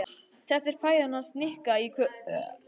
Þetta er pæjan hans Nikka í kvöld.